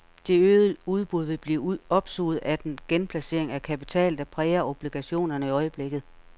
Det øgede udbud vil blive opsuget af den genplacering af kapital, der præger obligationerne i øjeblikket.